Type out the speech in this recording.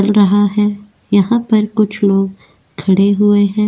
रहा है यहां पर कुछ लोग खड़े हुए हैं।